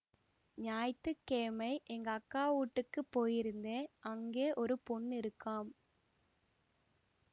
ஞாயித்திக்கெயமை எங்க அக்கா வூட்டுக்குப் போயிருந்தேன் அங்கே ஒரு பொண்ணு இருக்காம்